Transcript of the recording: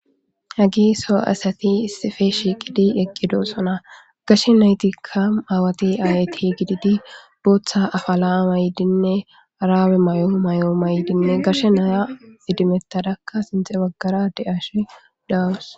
hagi so asati sife shiiqidi eqqido sona gashe naytikka aawati ayyti gididi booththa afalaa maydinne araawe may7oo may7oo maydinne gashe naya idimetadakka sinthe baggara de ashe dawus